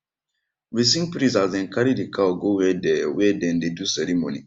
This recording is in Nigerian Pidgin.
we sing praise as them carry the cow go where dem where dem dey do ceremony